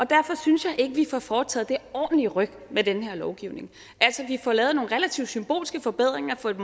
derfor synes jeg ikke vi får foretaget et ordentligt ryk med den her lovgivning altså vi får lavet nogle relativt symbolske forbedringer for et